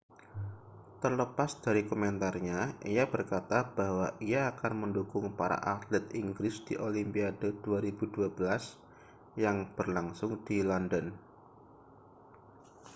terlepas dari komentarnya ia berkata bahwa ia akan mendukung para atlet inggris di olimpiade 2012 yang berlangsung di london